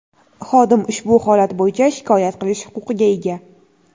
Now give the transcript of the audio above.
xodim ushbu holat bo‘yicha shikoyat qilish huquqiga ega.